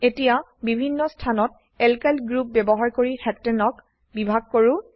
এতিয়া বিভিন্ন স্থানত এলকাইল গ্ৰুপ ব্যবহাৰ কৰি Heptaneক হেপ্টেন বিভাগ কৰো